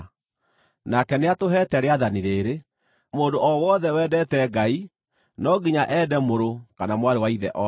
Nake nĩatũheete rĩathani rĩĩrĩ: Mũndũ o wothe wendete Ngai, no nginya ende mũrũ kana mwarĩ wa ithe o nake.